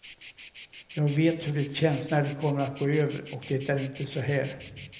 Jag vet hur det känns när det kommer att gå över, och det är inte så här.